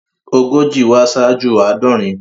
Ogójì wá ṣáájú àádọrin.